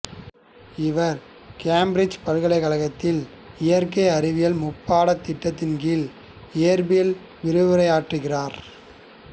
இவர் கேம்பிரிட்ஜ் பல்கலைக்கழகத்தில் இயற்கை அறிவியல் முப்பாடத் திட்டத்தின்கீழ் இயற்பியலில் விரிவுரையாற்றுகிறார்